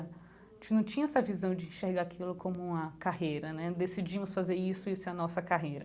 A gente não tinha essa visão de enxergar aquilo como uma carreira né, decidimos fazer isso e isso é a nossa carreira.